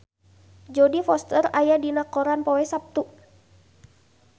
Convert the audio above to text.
Jodie Foster aya dina koran poe Saptu